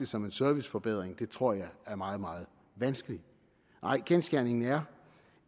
som en serviceforbedring tror jeg er meget meget vanskeligt nej kendsgerningen er